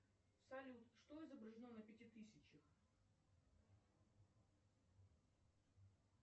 салют что изображено на пяти тысячах